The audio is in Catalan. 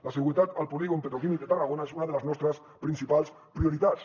la seguretat al polígon petroquímic de tarragona és una de les nostres principals prioritats